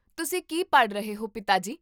ਤੁਸੀਂ ਕੀ ਪੜ੍ਹ ਰਹੇ ਹੋ, ਪਿਤਾ ਜੀ?